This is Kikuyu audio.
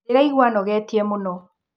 Ndĩraigua anogetie mũno.